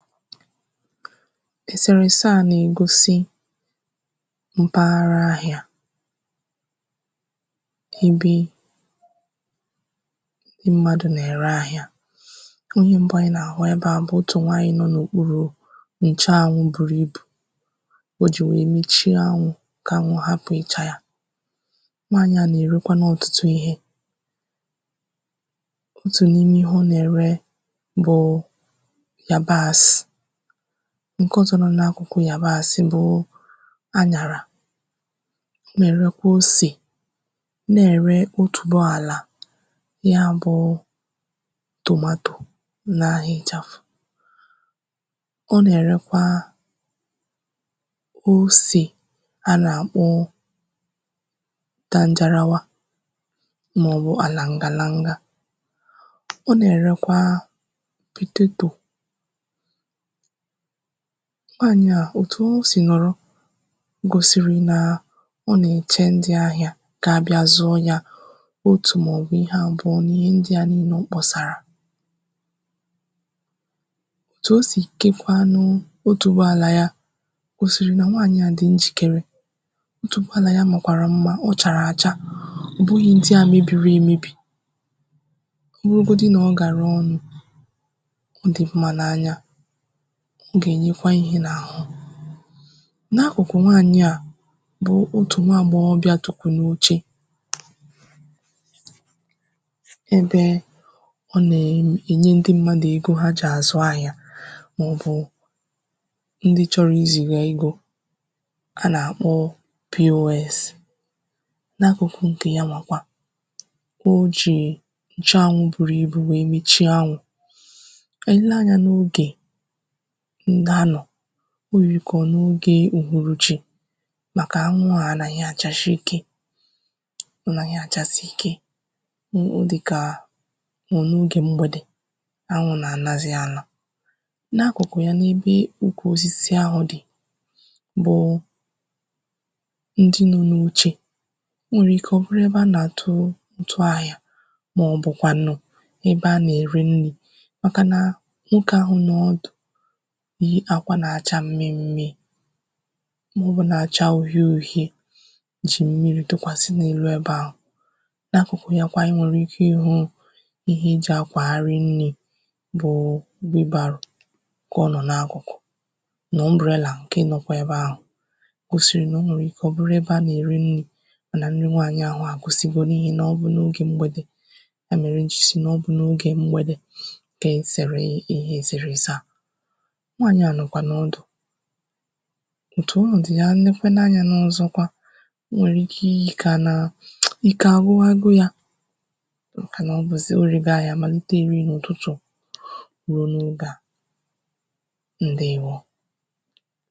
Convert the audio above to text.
Èsereèse à nà-ègosi mpaghara ahịā ebe ndị mmadụ̄ nà-ère ahịā onye mbụ anyị nà-àhụ ebe à bụ̀ otù nwaanyị nọ n’òkpurù ǹcheanwụ buru ibù o jì wèe mechie anwụ̄ kà anwụ hapụ̀ ịchā ya nwaànyị à nà-èrekwanụ ọtụtụ ihē otù n’ime ihe ọ nà-ère bụ̀ yabaàsị̀ ǹke ọzọ nọ n’akụ̀kụ̀ yabaàsị̀ bụ anyàrà na-èrekwe osè na-ère otùboàlà ya bụ̄ tomato n’ahā ị̀chàfụ̀ ọ nà-èrekwaa osè anà-àkpọ danjarawa màọ̀wụ̀ àlàǹgàlanga ọ nà-èrekwa pètetò nwaànyị à òtù o sì nọ̀rọ gòsìrì nà ọ nà-èche ndị ahịā ga-abịa zụọ yā otù màọ̀bụ̀ ihe àbụọ n’ihe ndị à niilē ọ kpọ̀sàrà òtù o sì kekwanụụ otùboàlà ya gòsìrì nà nwaànyị à dị̀ njìkere otùboàlà ya màkwàrà mmā ọ chàrà àcha ọ̀ bụhị̄ ndị à mebìri emebì o nwegodu nà ọ gàraa ọnụ̄ ọ dị̀ mmā n’anya ọ gà-ènyekwa ihē n’àhụ n’akụ̀kụ̀ nwaànyị à bụ otù nwaagbọghọbịà tukwù n’oche ebe ọ nà-em ènye ndị mmadụ̀ ego ha jì àzụ ahịā màọ̀bụ̀ ndị chọrọ izìgà ego anà-àkpọ POS n’akụ̀kụ ǹkè yanwà kwa o jì ǹcheanwụ buru ibù wèe mechie anwụ̄ e lee anyā n’ogè nganọ̀ o yìrì kà ọ̀ n’ogē uhuruchī màkà anwụ à anahi àchasi ikē ọ̀ naghị̀ àchasi ikē o o dị̀kà ọ̀ọ̀ n’ogè mgbèdè anwụ̄ nà-ànazi ana n’akụ̀kụ̀ ya n’ebe ukwù osisi ahụ̀ dị̀ bụ̀ụ̀ ndi nọ n’oche o nwèrè ikē ọ̀ bụrụ ebe anà-àtụ ụ̀tụ ahịā màọ̀bụ̀kwànụ̀ ebe anà-ère nnī màkà nà nwokē ahụ̀ nọ ọdụ̀ yi akwā nà-acha mmi mmii màọ̀bụ na-acha uhie uhie jì mmirī tụkwàsị n’elu ebe ahụ̀ n’akụ̀kụ̀ ya kwa I nwèrè ikē ịhụ̄ ihe e jì akwàgharị nnī bụ̀ụ̀ wheelbarrow kà ọ nọ̀ n’akụ̀kụ̀ nà umbrella ǹke nọkwa ebe ahụ̀ gòsìrì nà o nwèrè ikē ọ̀ bụru ebe anà-ère nnī nà nni nwaannyị̀ anwà àgwụsigo n’ihì nà ọ bụ̀ n’ogè mgbèdè ya mèrè m jì sị na ọ bụ n’ogè mgbèdè kà e sèrè ihe èsèrese à nwaànyị à nọ̀kwànụ̀ ọdụ̀ òtù ọnọ̀dụ̀ ya I nekwanụ anyā n’ọzọkwa o nwèrè ike iyī kà ànàà ike àgwụwago yā màkà nà ọ̀ bụ̀zì o rego ahịā màlite riì n’ụtụtụ̀ ruo n’oge à ǹdeèwo